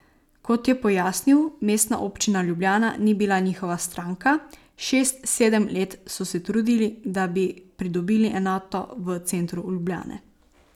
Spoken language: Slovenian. Kot je pojasnil, Mestna občina Ljubljana ni bila njihova stranka, šest, sedem let so se trudili, da bi pridobili enoto v centru Ljubljane.